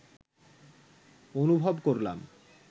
অনুভব করলাম